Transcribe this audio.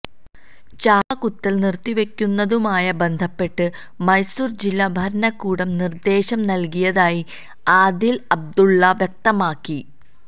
ചാപ്പ കുത്തല് നിര്ത്തിവെയ്ക്കുന്നതുമായി ബന്ധപ്പെട്ട് മൈസുര് ജില്ലാ ഭരണകൂടം നിര്ദ്ദേശം നല്കിയതായി അദീല അബ്ദുള്ള വ്യക്തമാക്കി